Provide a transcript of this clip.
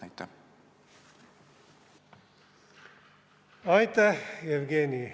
Aitäh, Jevgeni!